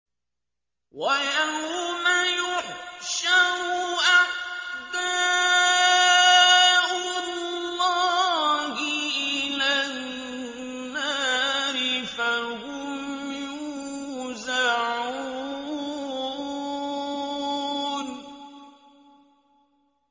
وَيَوْمَ يُحْشَرُ أَعْدَاءُ اللَّهِ إِلَى النَّارِ فَهُمْ يُوزَعُونَ